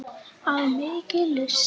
Af mikilli lyst.